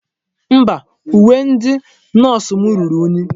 Mba, uwe ndi nọọsụ m ruru unyi.